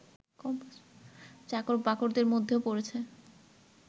চাকর-বাকরদের মধ্যেও পড়েছে